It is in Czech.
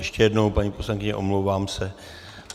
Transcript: Ještě jednou, paní poslankyně, omlouvám se.